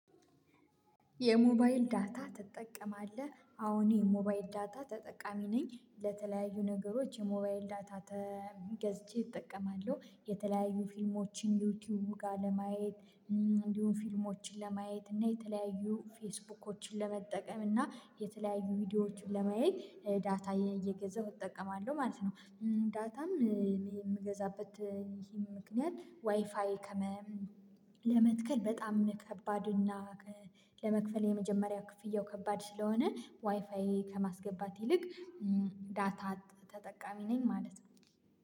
የሞባይል ዳታ ትጠቀማለህ? አዎ እኔ የሞባይል ዳታ ተጠቃሚ ነኝ ለተለያዩ ነገሮች የሞባይል ዳታ ተ ገዝቼ እጠቀማለሁ የተለያዩ ፊልሞችን ዩቲዩብ ጋር ለማየት እንዲሁም ፊልሞችን ለማየት እና የተለያዩ ፌስቡኮችን ለመጠቀም እና የተለያዩ ቪዲዮዎችን ለማየት ዳታ እየገዛሁ እጠቀማለሁ ማለት ነው። ዳታም የምገዛበት ይህ ምክንያት ዋይፋይ ከመ ለመትከል በጣም ከባድ እና ለመክፈል የመጀመሪያ ክፍያው ከባድ ስለሆነ ዋይፋዬ ከማስገባት ይልቅ ዳታ ተጠቃሚ ነኝ ማለት ነው